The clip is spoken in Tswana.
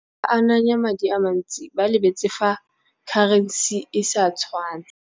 Ba ananya madi a mantsi ba lebetse fa currency e sa tshwane.